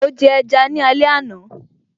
Mo jẹ ẹja ni alẹ́ àná